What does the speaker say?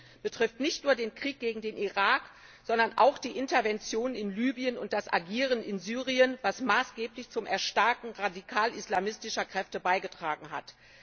Und dies betrifft nicht nur den Krieg gegen den Irak, sondern auch die Intervention in Libyen und das Agieren in Syrien, was maßgeblich zum Erstarken radikal islamistischer Kräfte beigetragen hat.